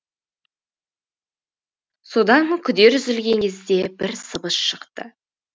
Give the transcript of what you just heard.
содан күдер үзілген кезде бір сыбыс шықты